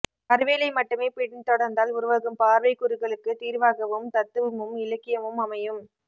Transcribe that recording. அறிவியலை மட்டுமே பின் தொடர்ந்தால் உருவாகும் பார்வைக்குறுகலுக்கு தீர்வாகவும் தத்துவமும் இலக்கியமும் அமையும்